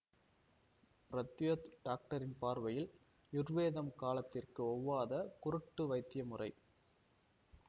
பிரத்யோத் டாக்டரின் பார்வையில் யுர்வேதம் காலத்திற்கு ஒவ்வாத குருட்டு வைத்தியமுறை